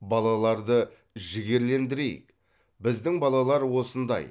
балаларды жігерлендірейік біздің балалар осындай